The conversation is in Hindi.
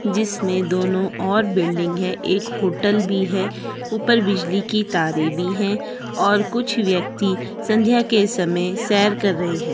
जिसमें दोनो ओर बिल्डिंग है एक होटल भी है ऊपर बिजली के तारे भी है और कुछ व्यक्ति संध्या के समय सैर कर रहे है।